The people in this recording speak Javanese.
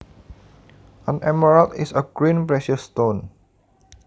An emerald is a green precious stone